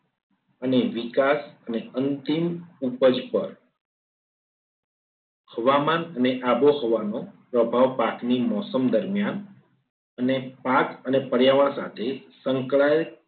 અને વિકાસ ને અંતિમ ઉપજ પર હવામાન અને આબોહવાનું પ્રભાવ પાકની મોસમ દરમિયાન અને પાક અને પર્યાવરણ સાથે સંકળાયેલ